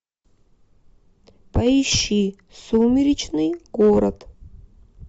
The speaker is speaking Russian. поищи сумеречный город